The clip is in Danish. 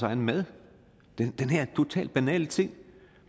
egen mad den her totalt banale ting